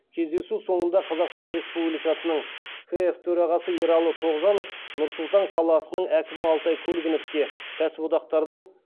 кездесу соңында қазақстан республикасының кф төрағасы ералы тоғжанов нұр сұлтан қаласының әкімі алтай көлгіновке кәсіподақтардың